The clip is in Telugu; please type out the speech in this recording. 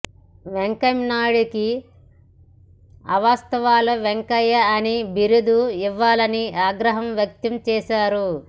వెంకయ్యనాయుడికి అవాస్తవాల వెంకయ్య అని బిరుదు ఇవ్వాలని ఆగ్రహం వ్యక్తం చేశారు